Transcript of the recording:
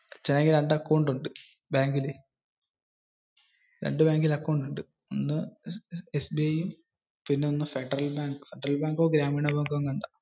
അച്ഛന് ആണെങ്കിൽ രണ്ടു അക്കൗണ്ട് ഉണ്ട്, ബാങ്കിൽ. രണ്ടു ബാങ്കിൽ അക്കൗണ്ട് ഉണ്ട്. SBI, ഫെഡറൽ ബാങ്കോ ഗ്രാമിന് ബാങ്കോ ആണ്.